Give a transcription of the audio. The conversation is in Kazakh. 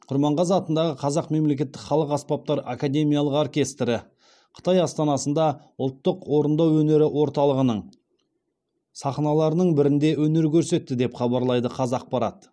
құрманғазы атындағы қазақ мемлекеттік халық аспаптары академиялық оркестрі қытай астанасында ұлттық орындау өнері орталығының сахналарының бірінде өнер көрсетті деп хабарлайды қазақпарат